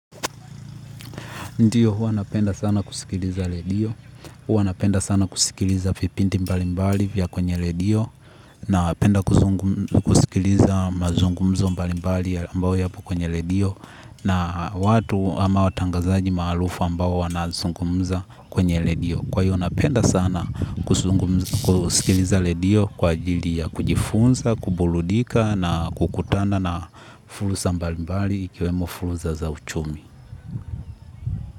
Ndiyo, hua napenda sana kusikiliza redio, hua napenda sana kusikiliza vibindi mbalimbali vya kwenye redio, napenda kusikiliza mazungumzo mbalimbali ambao yapo kwenye redio, na watu ama watangazaji maalufu ambao wanazungumza kwenye redio. Kwa hiyo, napenda sana kusikiliza redio kwa ajili ya kujifunza, kuburudika na kukutana na fursa mbalimbali ikiwemo fursa za uchumi.